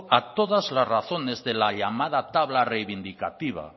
a todas las razones de la llamada tabla reivindicativa